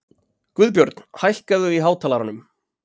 Guðbjörn, hækkaðu í hátalaranum.